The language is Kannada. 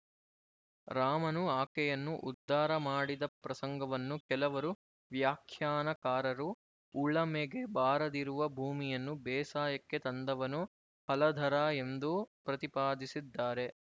ರಾಮನು ಆಕೆಯನ್ನು ಉದ್ಧಾರ ಮಾಡಿದ ಪ್ರಸಂಗವನ್ನು ಕೆಲವರು ವ್ಯಾಖ್ಯಾನಕಾರರು ಉಳಮೆಗೆ ಬಾರದಿರುವ ಭೂಮಿಯನ್ನು ಬೇಸಾಯಕ್ಕೆ ತಂದವನು ಹಲಧರ ಎಂದೂ ಪ್ರತಿಪಾದಿಸಿದ್ದಾರೆ